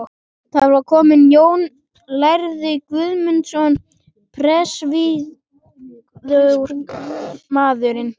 Þar var kominn Jón lærði Guðmundsson, prestvígður maðurinn.